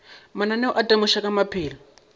mananeo a temošo ka maphelo